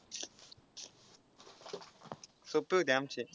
सोपे होते आमचे.